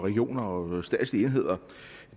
regioner og statslige enheder